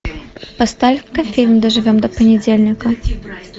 поставь ка фильм доживем до понедельника